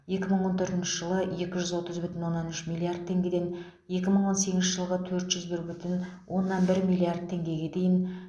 екі мың он төртінші жылы екі жүз отыз бүтін оннан үш миллиард теңгеден екі мың он сегізінші жылғы төрт жүз бір бүтін оннан бір миллиард теңгеге дейін